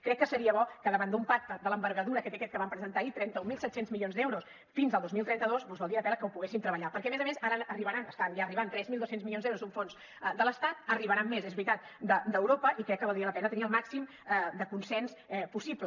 crec que seria bo que davant d’un pacte de l’envergadura que té aquest que vam presentar ahir trenta mil set cents milions d’euros fins al dos mil trenta dos doncs valdria la pena que ho poguéssim treballar perquè a més a més ara arribaran estan ja arribant tres mil dos cents milions d’euros d’un fons de l’estat n’arribaran més és veritat d’europa i crec que valdria la pena tenir el màxim de consens possible